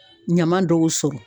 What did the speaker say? Ɲama dɔw sɔrɔ.